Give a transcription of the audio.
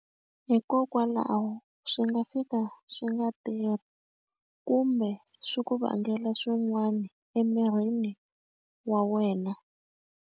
Hikokwalaho swi nga fika swi nga tirhi kumbe swi ku vangela swin'wana emirini wa wena.